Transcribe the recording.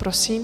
Prosím.